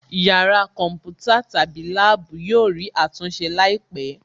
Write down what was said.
Yàrá kọ̀ḿpútà/lab yóò rí àtúnṣe láìpẹ̀